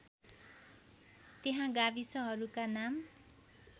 त्यहाँ गाविसहरूका नाम